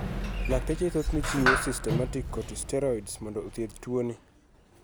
Lakteche thothne chiwo systemic corticosteroids mondo othieth tuo ni.